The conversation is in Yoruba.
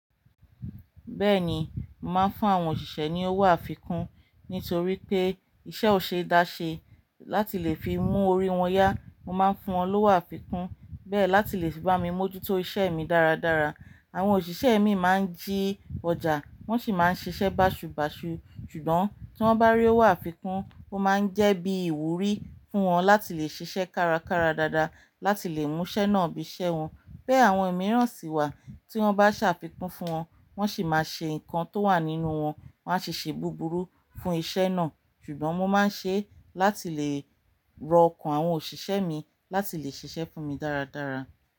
Bẹ́ẹ̀ni, mo màá ń fún àwọn òṣìṣẹ́ ní owó àfikún nítorí pé iṣẹ́ ò ṣe é dáṣẹ láti lè fi mú orí wọn yá. Mo máa ń fún wọn lówó àfikún bẹ́ẹ̀ láti lè fi bá mi mójútó iṣẹ́ mi dáradára. Àwọn òṣìṣẹ́ mi máa ń jí ọjà wọ́n sì máa ń ṣiṣẹ́ bàṣubàṣu. Ṣùgbọ́n tí wọ́n bá rí owó àfikún, ó máa ń jẹ́ bí ìwúrí fún wọn láti lè ṣiṣẹ́ kárakára dáadáa láti lè mú iṣẹ́ náà bí iṣẹ́ wọn. Bé àwọn ìmíràn sì wà tí wọ́n bá ṣàfikún fún wọn, wọ́n sì máa ṣe nǹkan tó wà nínú wọn, wọ́n a ṣe ṣe búburú fún iṣẹ́ náà. Ṣùgbọ́n mo máa ń ṣe é láti lè rọ ọkàn àwọn òṣìṣẹ́ mi láti lè ṣiṣẹ́ fún mi dáradára.